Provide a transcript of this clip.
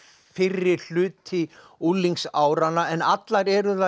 fyrri hluti unglingsáranna en allar eru þær